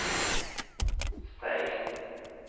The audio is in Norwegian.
Steigen